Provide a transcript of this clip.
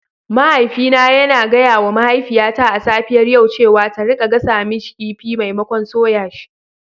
Mahaifina yana gaya wa mahaifiyata a safiyar yau cewa ta rika gasa kifi maimakon soya shi.